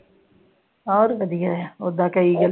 ਹੋਰ ਵਧੀਆ ਉਹਦਾ ਕਈ ਜੋ।